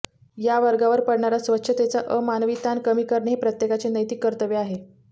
या वर्गावर पडणारा स्वच्छतेचा अमानवी ताण कमी करणे हे प्रत्येकाचे नैतिक कर्तव्य आहे